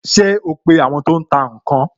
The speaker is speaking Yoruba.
Ṣé o ń pe àwọn tó ń tà ǹ kan?